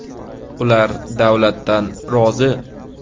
Ular davlatdan rozi.